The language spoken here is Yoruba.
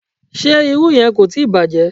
Ṣé irú yẹn kò tíì bàjẹ́?